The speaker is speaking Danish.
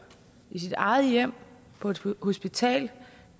i sit eget hjem på et hospital